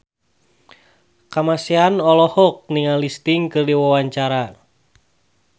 Kamasean olohok ningali Sting keur diwawancara